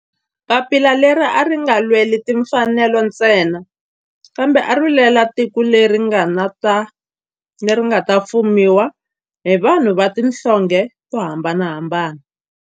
Papila leri a ri nga lweli timfanelo ntsena kambe ari lwela tiko leri nga ta fumiwa hi vanhu va tihlonge to hambanahambana.